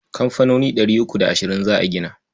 Kamfanoni ɗari uku da ashirin za a gina.